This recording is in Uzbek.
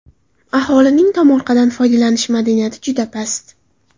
Aholining tomorqadan foydalanish madaniyati juda past.